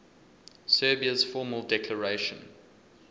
serbia's formal declaration